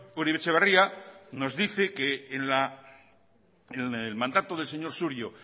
uribe etxebarria nos dice que en el mandato del señor surio